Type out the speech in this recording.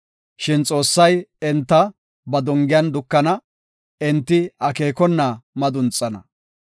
Shin Xoossay enta ba dongiyan dukana; enti akeekona madunxana.